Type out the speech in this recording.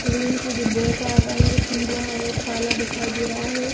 Train के डिब्बो का रंग पीला और काला दिखाई दे रहा है।